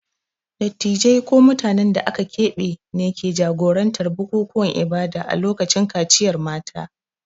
Dattijai ko mutanen da aka keɓe ne ke jagorantar bukukuwan ibada a lokacin kaciyar mata.